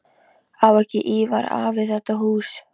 Á ekki Ívar afi þetta hús?